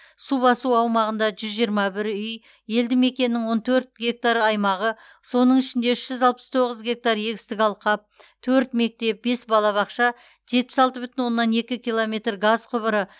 су басу аумағында жүз жиырма бір үй елді мекеннің он төрт гектар аймағы соның ішінде үш жүз алпыс тоғыз гектар егістік алқап төрт мектеп бес балабақша жетпіс алты бүтін оннан екі километр газ құбыры